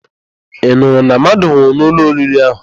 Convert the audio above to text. Ị nụrụ na mmadụ nwụrụ n'ụlọ oriri ahụ?